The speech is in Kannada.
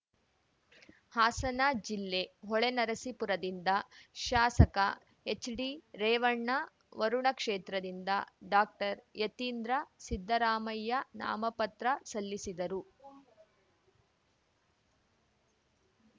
ಹಾಸನ ಜಿಲ್ಲೆ ಹೊಳೆನರಸೀಪುರದಿಂದ ಶಾಸಕ ಎಚ್‌ಡಿರೇವಣ್ಣ ವರುಣ ಕ್ಷೇತ್ರದಿಂದ ಡಾಕ್ಟರ್ಯತೀಂದ್ರ ಸಿದ್ದರಾಮಯ್ಯ ನಾಮಪತ್ರ ಸಲ್ಲಿಸಿದರು